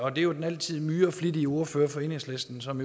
er jo den altid myreflittige ordfører fra enhedslisten som